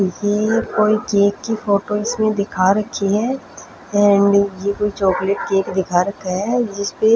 ये कोई केक की फोटो इस में दिखा रखी है एंड ये कोई चॉकलेट केक दिखा रखा है जिसपे--